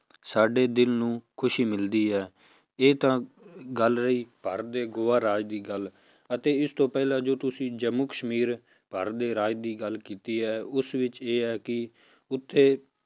ਸਾਡੇ ਦਿਲ ਨੂੰ ਖ਼ੁਸ਼ੀ ਮਿਲਦੀ ਹੈ, ਇਹ ਤਾਂ ਗੱਲ ਰਹੀ ਭਾਰਤ ਦੇ ਗੋਆ ਰਾਜ ਦੀ ਗੱਲ ਅਤੇ ਇਸ ਤੋਂ ਪਹਿਲਾਂ ਜੋ ਤੁਸੀਂ ਜੰਮੂ ਕਸ਼ਮੀਰ ਭਾਰਤ ਦੇ ਰਾਜ ਦੀ ਗੱਲ ਕੀਤੀ ਹੈ ਉਸ ਵਿੱਚ ਇਹ ਹੈ ਕਿ ਉੱਥੇ